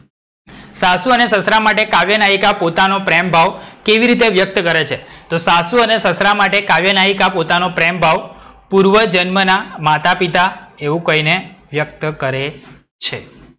સાસુ અને સસરા માટે કાવ્ય નાયિકા પોતાનો પ્રેમભાવ કેવી રીતે વ્યક્ત કરે છે? તો સાસુ અને સસરા માટે કાવ્ય નાયિકા પોતાનો પ્રેમભાવ પૂર્વજન્મના માતા પિતા એવું કહીને વ્યક્ત કરે છે.